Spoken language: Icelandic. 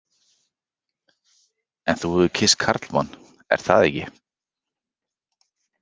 En þú hefur kysst karlmann, er það ekki?